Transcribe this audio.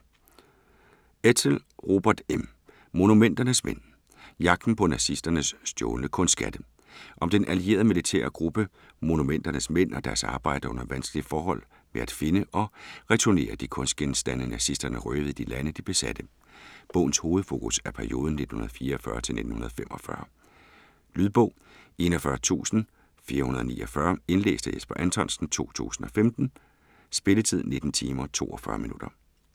Edsel, Robert M.: Monumenternes mænd Jagten på nazisternes stjålne kunstskatte. Om den allierede militære gruppe "Monumenternes mænd" og deres arbejde under vanskelige forhold med at finde og returnere de kunstgenstande nazisterne røvede i de lande, de besatte. Bogens hovedfokus er perioden 1944-1945. Lydbog 41449 Indlæst af Jesper Anthonsen, 2015. Spilletid: 19 timer, 42 minutter.